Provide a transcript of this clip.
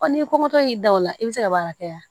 n'i ko k'i da o la i bɛ se ka baara kɛ yan